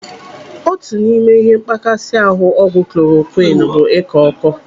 Otu n'ime ihe mkpakasị ahụ ọgwụ kolorokwiini bụ ịkọ ọkọ.